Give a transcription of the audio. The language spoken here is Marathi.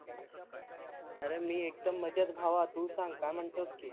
आरे मी एकदम मजेत भाव तू सांग काय माणतोस की